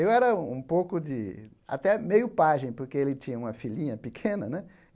Eu era um pouco de... até meio pajem, porque ele tinha uma filhinha pequena, né?